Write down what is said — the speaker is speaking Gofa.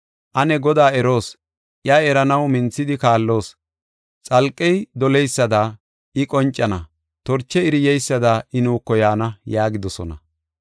Ane Godaa eroos; iya eranaw minthidi kaalloos. Xalqey doleysada I qoncana; torche iri yeysada I nuuko yaana” yaagidosona.